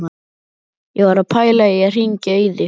Ég var að pæla í að hringja í þig.